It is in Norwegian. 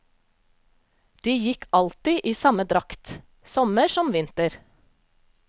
De gikk alltid i samme drakt, sommer som vinter.